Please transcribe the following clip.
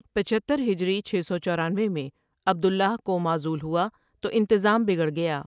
پچہتر ہجری چھ سو چورانوے میں عبد اللہ کو معزول ہوا تو انتظام بگڑ گیا ۔